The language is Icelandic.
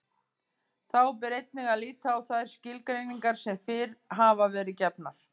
Þá ber einnig að líta á þær skilgreiningar sem fyrr hafa verið gefnar.